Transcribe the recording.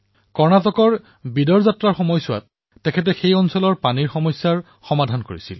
কৰ্ণাটকত বিদৰ যাত্ৰাৰ সময়ত গুৰুনানক দেৱজীয়ে তাৰে পানীৰ সমস্যা সমাধান কৰিছিল